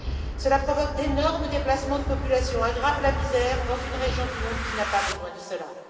Cela provoque d'énormes déplacements de populations et aggrave la misère dans une région du monde qui n'a pas besoin de cela.